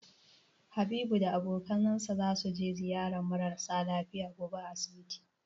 Habibu da abokinsa zasu je ziyarar mara sa lafiya gobe a asibiti.